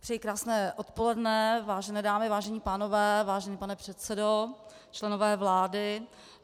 Přeji krásné odpoledne, vážené dámy, vážení pánové, vážený pane předsedo, členové vlády.